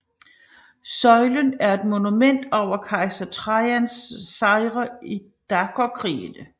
Søjlen er et monument over Kejser Trajans sejre i dakerkrigene